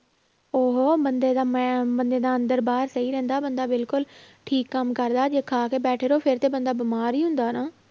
ਉਹ ਬੰਦੇ ਦਾ ਮਾ~ ਬੰਦੇ ਦਾ ਅੰਦਰ ਬਾਹਰ ਸਹੀ ਰਹਿੰਦਾ, ਬੰਦਾ ਬਿਲਕੁਲ ਠੀਕ ਕੰਮ ਕਰਦਾ ਜੇ ਖਾ ਕੇ ਬੈਠੇ ਰਹੋ ਫਿਰ ਤਾਂ ਬੰਦਾ ਬਿਮਾਰ ਹੀ ਹੁੰਦਾ ਨਾ।